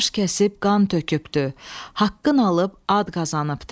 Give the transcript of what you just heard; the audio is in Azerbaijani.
Baş kəsib, qan tökübdü, haqqın alıb ad qazanıbdı.